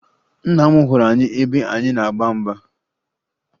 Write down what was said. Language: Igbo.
Nna m hụrụ anyị ebe anyị na-agba mgba